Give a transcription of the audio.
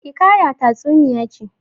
Hiƙaya tatsuniya ce.